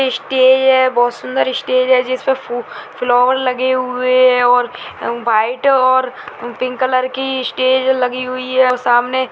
stage है बोहोत सुंदर स्टेज है जिसमें फू फ्लॉवर लगे हुए है और व्हाइट और पिंक कलर की स्टेज लगी हुई है और सामने --